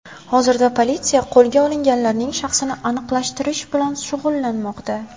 Hozirda politsiya qo‘lga olinganlarning shaxsini aniqlashtirish bilan shug‘ullanmoqda.